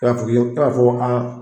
E b'a fɔ ko a